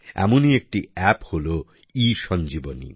এমনি একটি এপ হলো ইসঞ্জীবনী